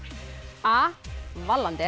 a